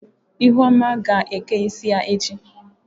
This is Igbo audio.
Ihuoma ga eke isi ya echi.